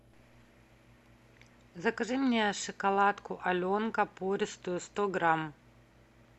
закажи мне шоколадку аленка пористую сто грамм